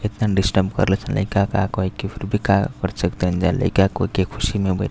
इतना डिस्टर्ब करेला सन लइका। का कहे के फिर भी का कर सकतानी जा लइका कहे के ख़ुशी में --